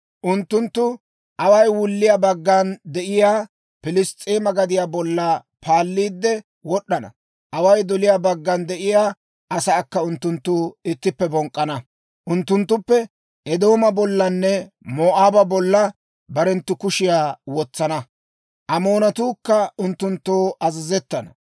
Unttunttu away wulliyaa baggan de'iyaa Piliss's'eema gadiyaa bolla paalliide wod'd'ana; away doliyaa baggan de'iyaa asaakka unttunttu ittippe bonk'k'ana. Unttunttu Eedooma bollanne Moo'aaba bolla barenttu kushiyaa wotsana; Amoonatuukka unttunttoo azazettana.